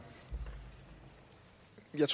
det